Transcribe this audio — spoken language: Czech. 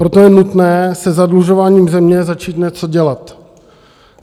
Proto je nutné se zadlužováním země začít něco dělat.